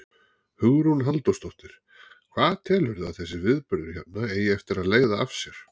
Hugrún Halldórsdóttir: Hvað telurðu að þessi viðburður hérna eigi eftir að leiða af sér?